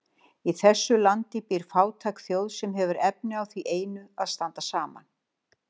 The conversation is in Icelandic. Í þessu landi býr fátæk þjóð, sem hefur efni á því einu að standa saman.